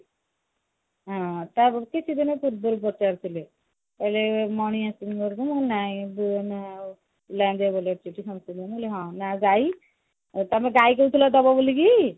ହଁ ପୂର୍ବରୁ ପଚାରୁଥିଲେ କହିଲେ ମଣି ଆସିନି ଘରକୁ ମୁଁ କହିଲି ନାଇଁ ଏ ପିଲାଙ୍କ ଦେହ ଭଲ ଅଛି ଟି ମୁହଁ କହିଲି ହଁ ନା ଆଉ ଗାଈ ଆଉ ତମେ ଗାଈ କହୁଥିଲ ଦବ ବୋଲିକି